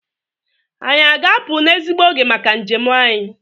Anyị a ga-apụ n'ezigbo oge maka njem anyị?